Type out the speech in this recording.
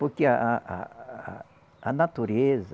Porque a a a a a natureza...